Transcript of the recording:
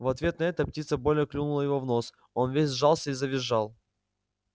в ответ на это птица больно клюнула его в нос он весь сжался и завизжал